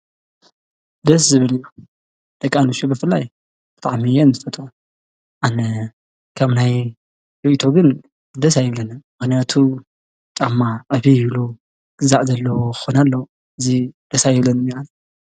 ደስ ዝብል እዩ ደቂ ኣንስትዮ ብፍላይ ብጣዕሚ እየን ዝፈትዋ ኣነ ከምናየይ ሪኢቶ ግን ደቂ ኣንስትዮ ደስ ኣይብለንን ምክንያቱ ተኣምራት የብሉን ግዛዕ ዘለዎ ክኮን ኣለዎ ግን ደስ ኣይብለንን ኣነ ፡፡